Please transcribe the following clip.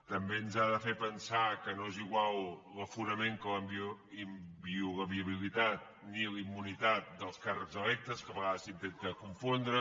també ens ha de fer pensar que no és igual l’aforament que la inviolabilitat ni la immunitat dels càrrecs electes que a vegades s’intenten confondre